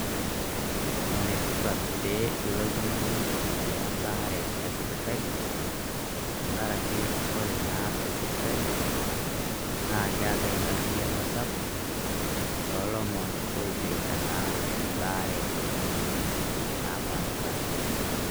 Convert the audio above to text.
ene tipat pee ilo oltung'ani ayiaya ebare tesipitali tengaraki ore naa tesipitali ,naa keetae engariyiano sapuk tolomon oipirta naa ebare emoyiaritin naapashipasha.